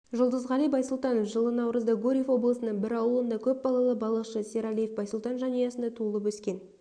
жұлдызғали байсултанов жылы наурызда гурьев облысының бір ауылында көп балалы балықшы сералиев байсултан жанұясында туылып өскен